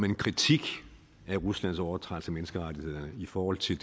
en kritik af ruslands overtrædelser af menneskerettighederne i forhold til